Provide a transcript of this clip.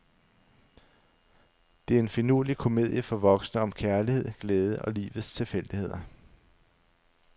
Det er en finurlig komedie for voksne om kærlighed, glæde og livets tilfældigheder.